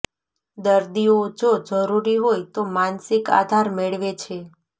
દર્દીઓ જો જરૂરી હોય તો માનસિક આધાર મેળવે છે